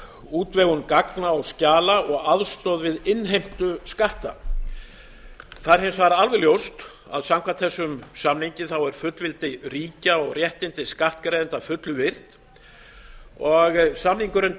útvegun gagna og skjala og aðstoð við innheimtu skatta það er hins vegar alveg ljóst að samkvæmt þessum samningi er fullveldi ríkja og réttindi skattgreiðenda að fullu virt og samningurinn